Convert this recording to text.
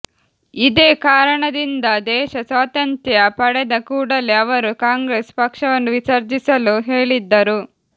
ಇದೇ ಕಾರಣದಿಂದ ದೇಶ ಸ್ವಾತಂತ್ರ್ಯ ಪಡೆದ ಕೂಡಲೇ ಅವರು ಕಾಂಗ್ರೆಸ್ ಪಕ್ಷವನ್ನು ವಿಸರ್ಜಿಸಲು ಹೇಳಿದ್ದರು